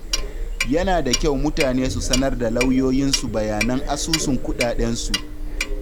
Yana da kyau mutane su sanar da lauyoyinsu bayanan asusun kuɗaɗensu.